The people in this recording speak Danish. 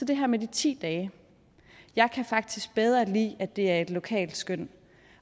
det her med de ti dage jeg kan faktisk bedre lide det er et lokalt skøn